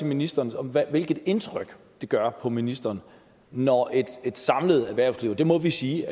ministeren om hvilket indtryk det gør på ministeren når et samlet erhvervsliv og det må vi sige